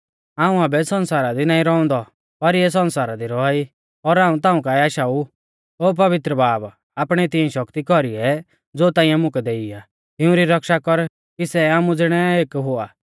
हाऊं आबै सण्सारा दी नाईं रौउंदौ पर इऐ सण्सारा दी रौआ ई और हाऊं ताऊं काऐ आशाऊ ओ पवित्र बाब आपणी तिऐं शक्ति कौरीऐ ज़ो ताइंऐ मुकै दैऔ आ तिऊं री रक्षा कर कि सै आमु ज़िणै एक हुआ